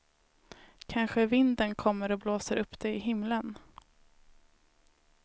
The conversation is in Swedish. Kanske vinden kommer och blåser upp det i himlen.